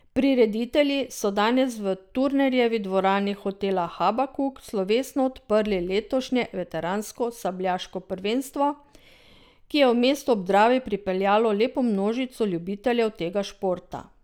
Prireditelji so danes v Turnerjevi dvorani hotela Habakuk slovesno odprli letošnje veteransko sabljaško prvenstvo, ki je v mesto ob Dravi pripeljalo lepo množico ljubiteljev tega športa.